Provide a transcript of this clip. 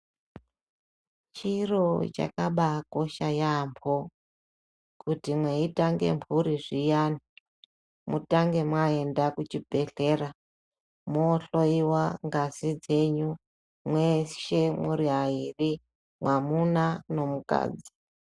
Chiro chakabakosha yamho kuti mweitange mhuri zviyani mutange mwaenda kuchibhehleya mohloyiwa ngazi dzenyu mwamuna nemukadzi.